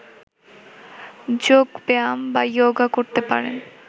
যোগ ব্যায়াম বা ইয়োগা করতে পারেন